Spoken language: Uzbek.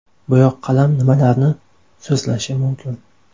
Bo‘yoqqalam nimalarni so‘zlashi mumkin?